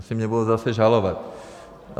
Asi mě budou zase žalovat.